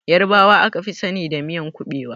Ƴarbawa aka fi sani da miyan ƙuɓewa.